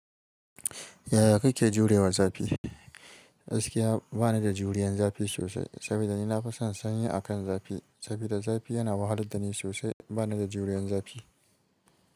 Yaya kake jurewa zafi? Gaskiya ba ni da juriyan zafi sosai, saboda ni na fi son sanyi akan zafi. Saboda zafi yana wahalar da ni sosai, ba ni da juriyan zafi.